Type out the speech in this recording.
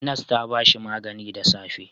Nas ta ba shi magani da safe.